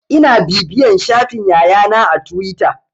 Ina bibiyan shafin Yaya na a tuwita.